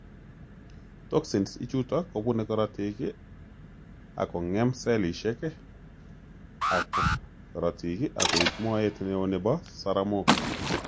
Toxins ichuto kobune korotik akong'em sellishek ab korotik akoib moet neo nebo saramok